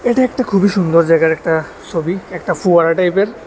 এটি একটা খুবই সুন্দর জায়গার একটা সবি একটা ফোয়ারা টাইপের।